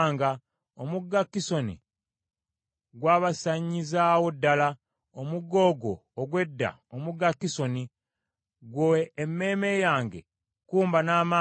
Omugga Kisoni gwabasanyizaawo ddala, omugga ogwo ogw’edda omugga Kisoni. Ggwe emmeeme yange, kkumba n’amaanyi.